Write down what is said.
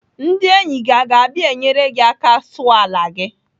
Ndị enyi gị aga abịa enyere gị aka sụọ ala gị?